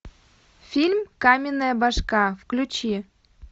фильм каменная башка включи